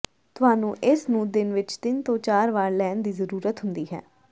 ਤੁਹਾਨੂੰ ਇਸ ਨੂੰ ਦਿਨ ਵਿਚ ਤਿੰਨ ਤੋਂ ਚਾਰ ਵਾਰ ਲੈਣ ਦੀ ਜ਼ਰੂਰਤ ਹੁੰਦੀ ਹੈ